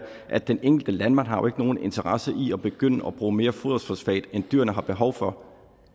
at den enkelte landmand har nogen interesse i at begynde at bruge mere foderfosfat end dyrene har behov for